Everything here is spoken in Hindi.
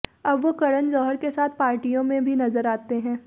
अब वो करण जौहर के साथ पार्टियों में भी नज़र आते हैं